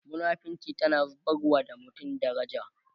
munafinci tana zubarwa da mutum daraja